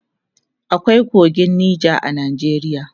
akwai kogin Nija a Najeriya